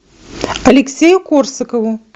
алексею корсакову